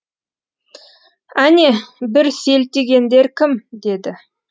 әне бір селтигендер кім деді